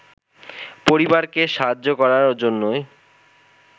পরিবারকে সাহায্য করার জন্যই